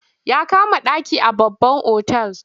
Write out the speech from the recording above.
Ya kama ɗaki a babban otal.